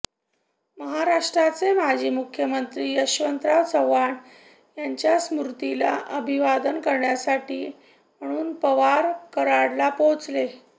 महाराष्ट्राचे माजी मुख्यमंत्री यशवंतराव चव्हाण यांच्या स्मृतीला अभिवादन करण्यासाठी म्हणून पवार कराडला पोहोचले